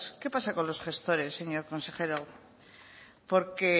qué pasa con los gestores señor consejero porque